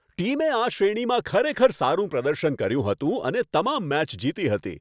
ટીમે આ શ્રેણીમાં ખરેખર સારું પ્રદર્શન કર્યું હતું અને તમામ મેચ જીતી હતી.